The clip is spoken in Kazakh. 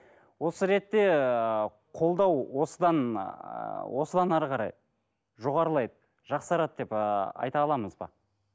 осы ретте ыыы қолдау осыдан ыыы осыдан әрі қарай жоғарылайды жақсарады деп ыыы айта аламыз ба